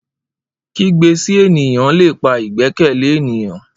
Kigbe si eniyan le pa igbẹkẹle eniyan